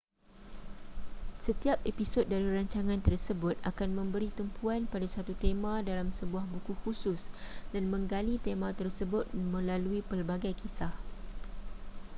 setiap episod dari rancangan tersebut akan memberi tumpuan pada satu tema dalam sebuah buku khusus dan menggali tema tersebut melalui pelbagai kisah